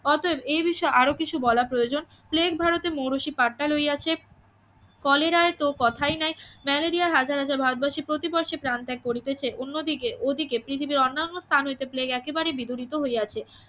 অতএব এই বিষয়ে আরও কিছু বলা প্রয়োজন প্লেগ ভারতে মৌরসি পাট্টা লইয়াছে কলেরায় তো কথাই নাই ম্যালেরিয়ায় হাজার হাজার ভারতবাসী প্রতি বর্ষে প্রাণত্যাগ করিতেছে অন্যদিকে ওদিকে পৃথিবীর অন্যান্য স্থান হইতে প্লেগ একেবারে বিতারিত হইয়াছে